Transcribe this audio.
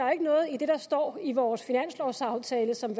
er noget i det der står i vores finanslovsaftale som